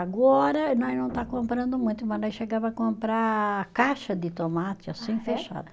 Agora nós não está comprando muito, mas nós chegava a comprar caixa de tomate, assim, fechada.